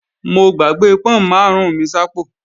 Mo gbàgbé pọ́n máàrún mi sápò